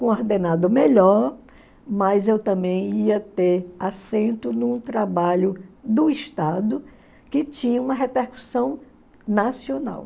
coordenado melhor, mas eu também ia ter assento num trabalho do Estado que tinha uma repercussão nacional.